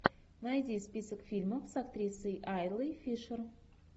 найди список фильмов с актрисой айлой фишер